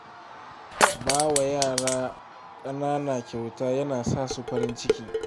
Ba wa yara ƙanana kyauta yana sa su farin ciki.